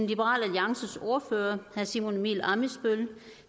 liberal alliances ordfører herre simon emil ammitzbøll